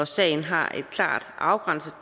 sagen har et klart afgrænset